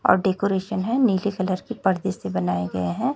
और डेकोरेशन है नीले कलर के पर्दे से बनाए गए है।